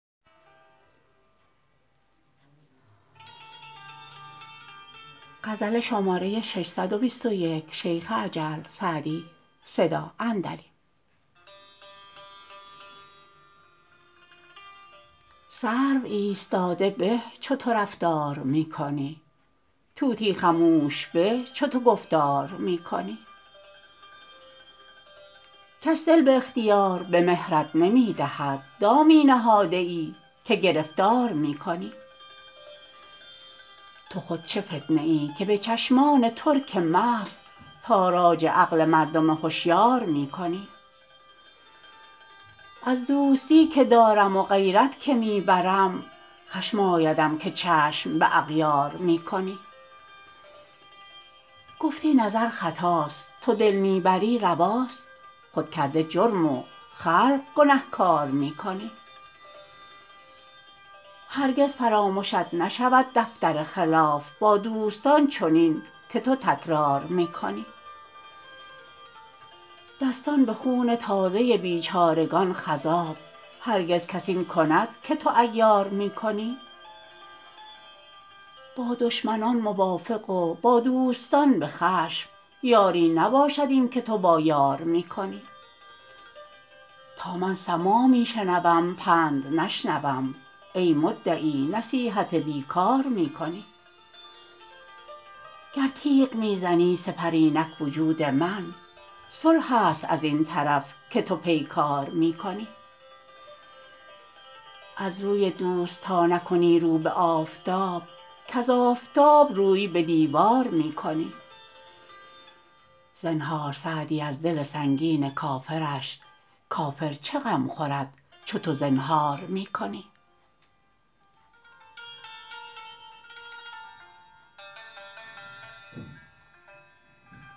سرو ایستاده به چو تو رفتار می کنی طوطی خموش به چو تو گفتار می کنی کس دل به اختیار به مهرت نمی دهد دامی نهاده ای که گرفتار می کنی تو خود چه فتنه ای که به چشمان ترک مست تاراج عقل مردم هشیار می کنی از دوستی که دارم و غیرت که می برم خشم آیدم که چشم به اغیار می کنی گفتی نظر خطاست تو دل می بری رواست خود کرده جرم و خلق گنهکار می کنی هرگز فرامشت نشود دفتر خلاف با دوستان چنین که تو تکرار می کنی دستان به خون تازه بیچارگان خضاب هرگز کس این کند که تو عیار می کنی با دشمنان موافق و با دوستان به خشم یاری نباشد این که تو با یار می کنی تا من سماع می شنوم پند نشنوم ای مدعی نصیحت بی کار می کنی گر تیغ می زنی سپر اینک وجود من صلح است از این طرف که تو پیکار می کنی از روی دوست تا نکنی رو به آفتاب کز آفتاب روی به دیوار می کنی زنهار سعدی از دل سنگین کافرش کافر چه غم خورد چو تو زنهار می کنی